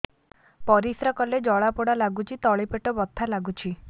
ପରିଶ୍ରା କଲେ ଜଳା ପୋଡା ଲାଗୁଚି ତଳି ପେଟ ବଥା ଲାଗୁଛି